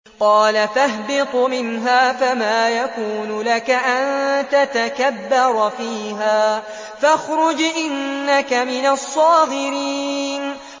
قَالَ فَاهْبِطْ مِنْهَا فَمَا يَكُونُ لَكَ أَن تَتَكَبَّرَ فِيهَا فَاخْرُجْ إِنَّكَ مِنَ الصَّاغِرِينَ